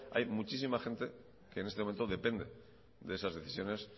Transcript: hay muchísima gente que en este momento depende de esas decisiones